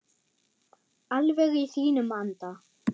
Alveg í þínum anda.